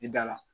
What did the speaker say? I da la